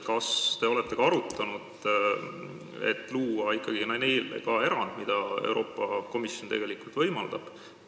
Kas te olete arutanud, et teha neile erand, mida Euroopa Komisjon tegelikult võimaldab?